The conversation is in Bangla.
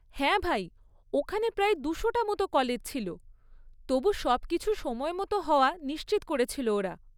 হ্যাঁ ভাই, ওখানে প্রায় দুশোটা মতো কলেজ ছিল, তবু সবকিছু সময়মতো হওয়া নিশ্চিত করেছিল ওরা।